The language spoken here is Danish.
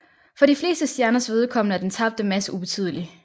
For de fleste stjerners vedkommende er den tabte masse ubetydelig